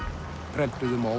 prentuðum og